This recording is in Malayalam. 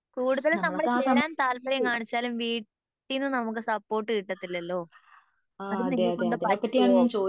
കൂടുതൽ നമ്മൾ ചേരാൻ താല്പര്യം കാണിച്ചാലും വീട്ടീന്ന് നമുക്ക് സപ്പോർട്ട് കിട്ടത്തില്ലലോ അത് നിന്നെക്കൊണ്ട് പറ്റുവോ